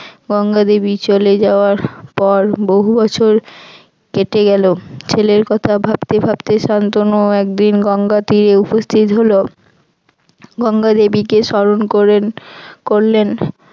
গঙ্গা দেবী চলে যাওয়ার পর বহু বছর কেটে গেল ছেলের কথা ভাবতে ভাবতে শান্তনু একদিন গঙ্গা তীরে উপস্থিত হল । গঙ্গা দেবীকে স্মরণ করেন করলেন।